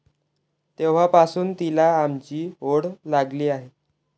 तेव्हापासुन तिला आमची ओढ लागली आहे.